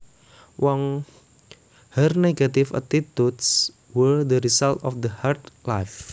Her negative attitudes were the result of a hard life